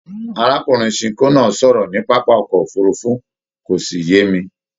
Arákùnrin Sinko náà sọ̀rọ̀ ní pápá ọkọ òfurùnfu, kò sí yé mi.